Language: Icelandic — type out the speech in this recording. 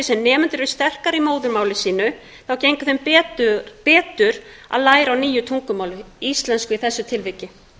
sem nemendur eru sterkari í móðurmáli sínu gengur þeim betur að læra á nýju tungumáli íslensku í þessu tilviki